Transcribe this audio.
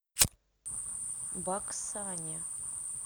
баксане